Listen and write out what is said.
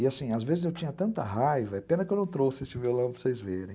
E assim, às vezes eu tinha tanta raiva, é pena que eu não trouxe esse violão para vocês verem.